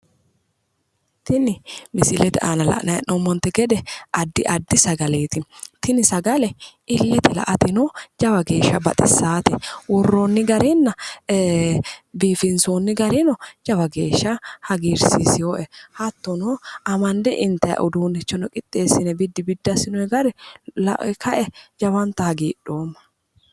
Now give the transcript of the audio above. Tini misilete aana la'nanni hee'noommonte gede addi addi sagaleti tini sagale ilete la"ateno jawa geeshsha hagiirsisate ittateno biifinote hattono assine worrooni gara lae lowontanni hagiidhoomma